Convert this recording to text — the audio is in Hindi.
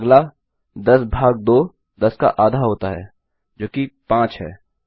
अगला 10 भाग 2 10 का आधा होता है जो कि 5 है